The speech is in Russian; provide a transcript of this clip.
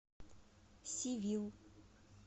сивил